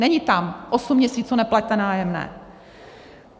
Není tam osm měsíců neplaťte nájemné.